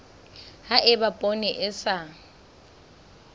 ha eba poone e sa